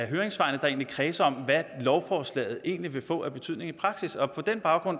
høringssvarene der kredser om hvad lovforslaget egentlig vil få af betydning i praksis og på den baggrund